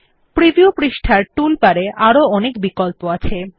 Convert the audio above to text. preview পৃষ্ঠার tool বারে আরো অনেক বিকল্প আছে